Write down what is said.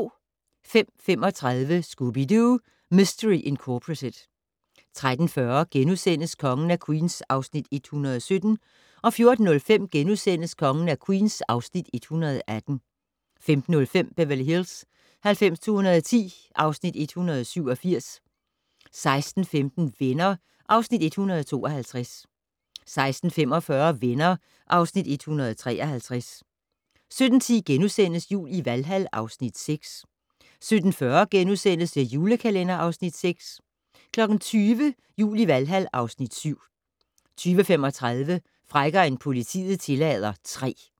05:35: Scooby-Doo! Mistery Incorporated 13:40: Kongen af Queens (Afs. 117)* 14:05: Kongen af Queens (Afs. 118)* 15:05: Beverly Hills 90210 (Afs. 187) 16:15: Venner (Afs. 152) 16:45: Venner (Afs. 153) 17:10: Jul i Valhal (Afs. 6)* 17:40: The Julekalender (Afs. 6)* 20:00: Jul i Valhal (Afs. 7) 20:35: Frækkere end politiet tillader III